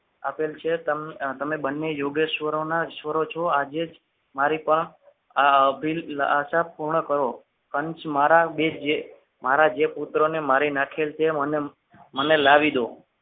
આપેલ છે તમને તમે બંને યોગેશ્વર ના ઈશ્વરો છો આજે જ મારી પણ આ અભિલાષા પૂર્ણ કરો. કંસ મારા જે બે મારા પુત્રોને જે મારી નાખેલ તે મને મને લાવી દો.